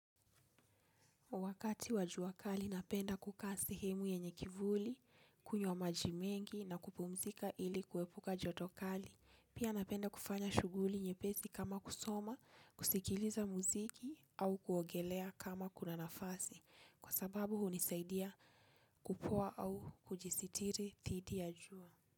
Wakati wa jua kali, napenda kukaa sehemu yenye kivuli, kunywa maji mengi na kupumzika ili kuepuka joto kali. Pia napenda kufanya shughuli nyepesi kama kusoma, kusikiliza muziki au kuogelea kama kuna nafasi. Kwa sababu, hunisaidia kupoa au kujisitiri dhidi ya jua.